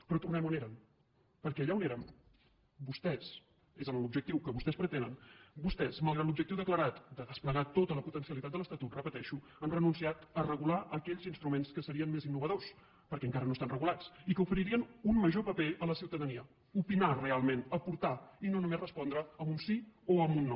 però tornem on eren perquè allà on érem vostès és l’objectiu que vostès pretenen malgrat l’objectiu declarat de desplegar tota la potencialitat de l’estatut ho repeteixo han renunciat a regular aquells instruments que serien més innovadors perquè encara no estan regulats i que oferirien un major paper a la ciutadania opinar realment aportar i no només respondre amb un sí o amb un no